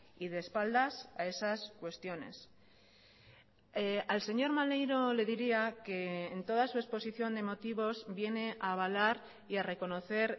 y de espaldas a esas cuestiones al señor maneiro le diría que en toda su exposición de motivos viene a avalar y a reconocer